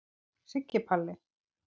Siggi Palli.